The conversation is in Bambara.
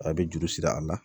A bɛ juru siri a la